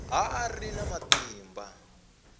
a a ri na matimba